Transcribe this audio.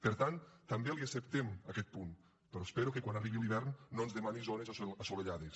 per tant també li acceptem aquest punt però espero que quan arribi l’hivern no ens demani zones assolellades